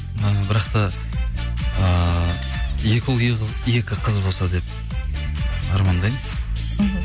і бірақ та ыыы екі ұл екі қыз болса деп армандаймын мхм